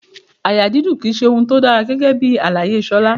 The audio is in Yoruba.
Àyà dídùn ki í ṣe ohun tó dára rárá gẹ́gẹ́bí àlàyé Ṣolá.